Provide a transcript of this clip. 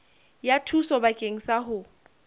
ya thuso bakeng sa ho